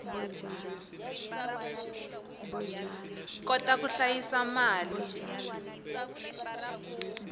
kota ku hlayisa mai